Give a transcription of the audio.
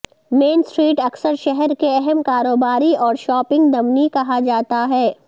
مین street اکثر شہر کے اہم کاروباری اور شاپنگ دمنی کہا جاتا ہے